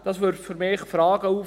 Das wirft für mich Fragen auf.